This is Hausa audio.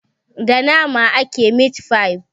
Da nama ake mit-fai.